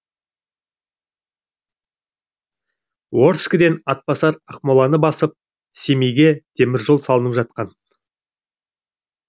орскіден атбасар ақмоланы басып семейге темір жол салынып жатқан